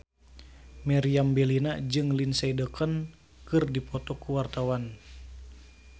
Meriam Bellina jeung Lindsay Ducan keur dipoto ku wartawan